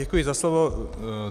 Děkuji za slovo.